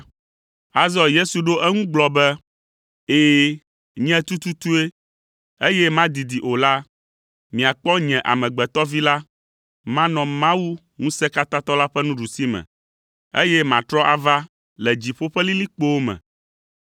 Azɔ Yesu ɖo eŋu gblɔ be, “Ɛ̃, nye tututue, eye madidi o la, miakpɔ nye Amegbetɔ Vi la manɔ Mawu Ŋusẽkatãtɔ la ƒe nuɖusime, eye matrɔ ava le dziƒo ƒe lilikpowo me.”